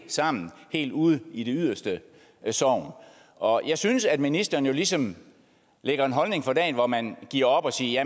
sammen helt ude i det yderste sogn og jeg synes at ministeren jo ligesom lægger en holdning for dagen hvor man giver op og siger